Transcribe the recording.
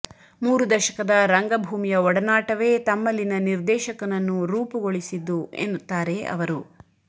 ಮೂರು ದಶಕದ ರಂಗಭೂಮಿಯ ಒಡನಾಟವೇ ತಮ್ಮಲ್ಲಿನ ನಿರ್ದೇಶಕನನ್ನು ರೂಪುಗೊಳಿಸಿದ್ದು ಎನ್ನುತ್ತಾರೆ ಅವರು